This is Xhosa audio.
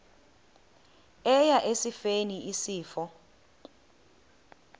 eya esifeni isifo